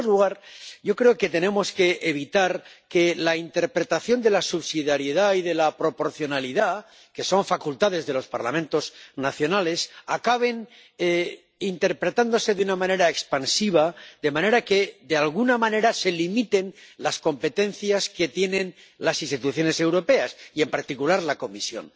En primer lugar, yo creo que tenemos que evitar que la interpretación de la subsidiariedad y de la proporcionalidad —que son facultades de los Parlamentos nacionales— acaben haciéndose de una manera expansiva, de manera que de alguna manera se limiten las competencias que tienen las instituciones europeas, y en particular la Comisión.